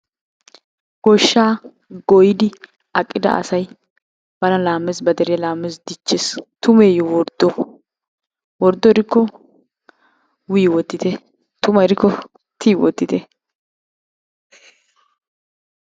Goshshaa goyidi aqida asay bana laamees ba deriya laamees diccees, tummeyye worddo? Worddo gidikko w wottitte tuma gidikko t wottite.